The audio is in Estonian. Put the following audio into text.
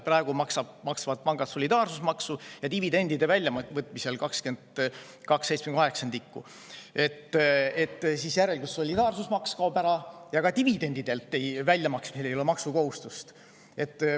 Praegu maksavad pangad solidaarsusmaksu ja dividendide väljavõtmisel 22/78, siis järelikult solidaarsusmaks kaob ära ja ka dividendide väljamaksmisel ei ole maksukohustust.